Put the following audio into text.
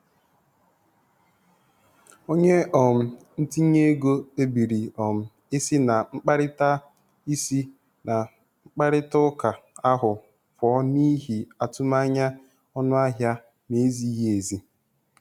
Onye um ntinye ego kpebiri um isi na mkparịta isi na mkparịta ụka ahụ pụọ n'ihi atụmanya ọnụahịa na-ezighị ezi.